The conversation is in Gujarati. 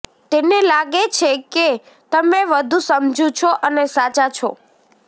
તેને લાગે છે કે તમે વધુ સમજુ છો અને સાચા છો